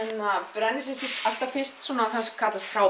brenni sumsé alltaf fyrst það sem kallast